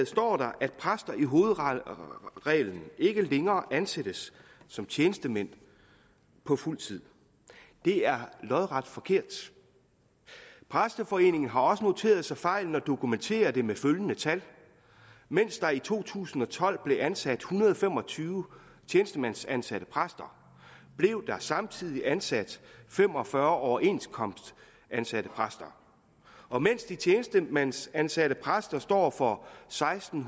står der at præster i hovedreglen ikke længere ansættes som tjenestemænd på fuld tid det er lodret forkert præsteforeningen har også noteret sig fejlen og dokumenterer det med følgende tal mens der i to tusind og tolv blev ansat en hundrede og fem og tyve tjenestemandsansatte præster blev der samtidig ansat fem og fyrre overenskomstansatte præster og mens de tjenestemandsansatte præster står for seksten